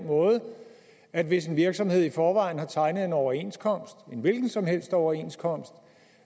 at hvis en virksomhed i forvejen har tegnet en overenskomst en hvilken som helst overenskomst